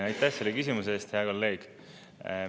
Aitäh selle küsimuse eest, hea kolleeg!